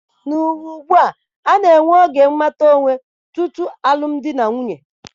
N'ụwa ugbua, a na-enwe oge mmata onwe tutu alụm di na nwunye.